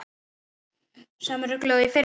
Sama ruglið og í fyrra?